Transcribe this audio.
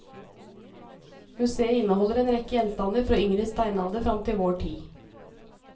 Museet inneholder en rekke gjenstander fra yngre steinalder fram til vår tid.